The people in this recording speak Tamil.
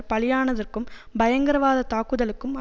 பலியானதற்கும் பயங்கரவாதத் தாக்குதலுக்கும்